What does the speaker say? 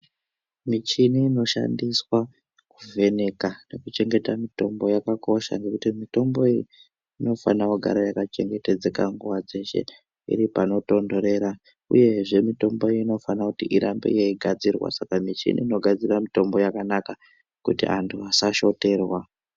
Michini ino shandiswa ku vheneka neku chengeta mitombo yakakosha ngekuti mitombo iyi ino fana kugara yaka chengetedzeka nguva dzeshe iri pano tondorera uyezve mitombo iyi inofana kuti irambe yei gadzirwa saka michini ino gadzira mutombo yakanaka kuti antu asa shoterwa.